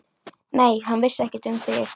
Nei, hann vissi ekkert um þig.